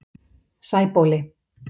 Sæbóli